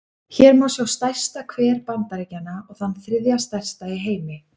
Hér má sjá stærsta hver Bandaríkjanna, og þann þriðja stærsta í heimi.